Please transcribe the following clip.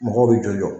Mɔgɔw b'i jɔ